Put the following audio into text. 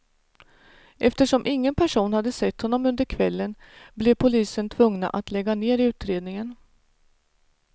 Eftersom ingen person hade sett honom under kvällen, blev polisen tvungna att lägga ner utredningen.